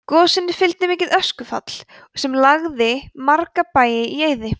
gosinu fylgdi mikið öskufall sem lagði marga bæi í eyði